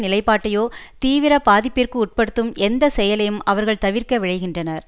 நிலைப்பாட்டையோ தீவிர பாதிப்பிற்கு உட்படுத்தும் எந்த செயலையும் அவர்கள் தவிர்க்க விழைகின்றனர்